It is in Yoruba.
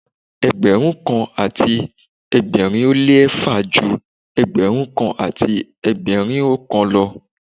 Ẹgbẹ̀rún kan àti ẹgbẹ̀rin ó lé eéfà ju Ẹgbẹ̀rún kan àti ẹgbẹ̀rin oókan lọ.